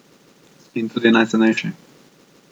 In tudi najcenejši.